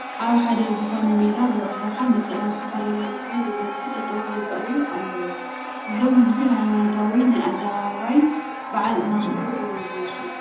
ኣብ ሓደ ዝኾነ ሜዳ ብኣብዝሓ ነፀላ ዝተኸደኑ ህዝቢ ብብዝሒ ጠጠው ይርአዩ ኣለዉ፡፡ እዞም ህዝቢ ሃይማኖታዊ ናይ ኣደባባይ በዓል እናኽበሩ እዮም ዝመስሉ፡፡